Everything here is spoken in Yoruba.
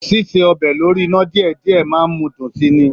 Síse ọbẹ̀ lórí iná díẹ̀díẹ̀ máà ń mú dùn si ni.